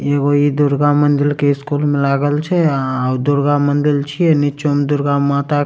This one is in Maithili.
इ एगो इ दुर्गा मंदिर के स्कूल मे लागल छै अ दुर्गा मंदिर छीये नीचो मे दुर्गा माता --